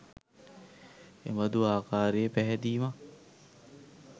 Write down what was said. එබඳු ආකාරයේ පැහැදීමක්